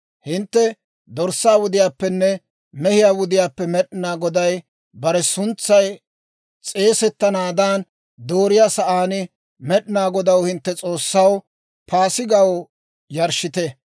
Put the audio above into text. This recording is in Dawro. Hintte dorssaa wudiyaappenne mehiyaa wudiyaappe Med'inaa Goday bare suntsay s'eesettanaadan dooriyaa sa'aan, Med'inaa Godaw, hintte S'oossaw, Paasigaw yarshshite.